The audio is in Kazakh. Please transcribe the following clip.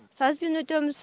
сазбен өтеміз